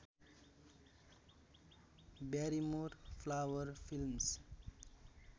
Barrymore flower films